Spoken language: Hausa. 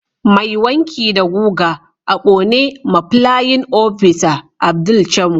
Mai wanki da guga a Kone ma playin opisa Abdul camo